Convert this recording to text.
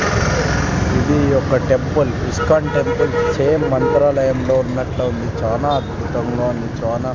ఇది ఒక temple ISKCON temple same మంత్రాలయంలో ఉన్నట్లుంది చాలా అద్భుతంగా ఉంది చానా--